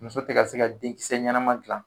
Muso tɛ se ka denkisɛ ɲɛnama dilan